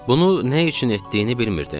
Bunu nə üçün etdiyini bilmirdim.